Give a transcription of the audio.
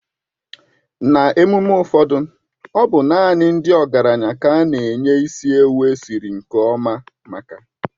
N'emume ụfọdụ ọ bụ naanị ndị ọgaranya ka a na-enye isi ewu esiri nke ọma maka.